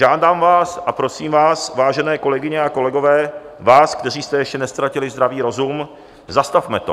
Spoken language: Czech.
Žádám vás a prosím vás, vážené kolegyně a kolegové, vás, kteří jste ještě neztratili zdravý rozum, zastavme to.